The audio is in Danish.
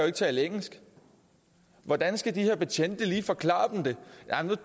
ikke tale engelsk hvordan skal de her betjente lige forklare dem det